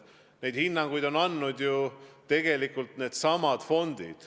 Neid hinnanguid on ju tegelikult andnud needsamad fondid.